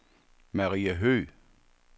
Maria Høgh